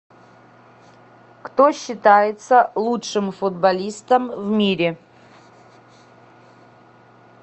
кто считается лучшим футболистом в мире